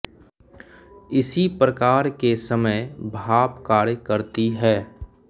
इसी प्रकार के समय भाप कार्य करती है